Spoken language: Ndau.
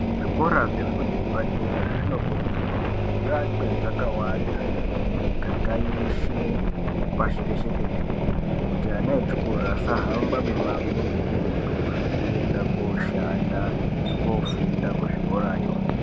Zvikora zvefundo yepadera zvinokurudzirwa kuti zviakwe zvakawanda mumiganga yeshe pashireshe tenderere. Kuti ana echikora asahamba mimango mikurutu kuenda koshanda nekofunda kuzvikoravo.